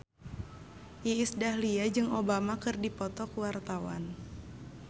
Iis Dahlia jeung Obama keur dipoto ku wartawan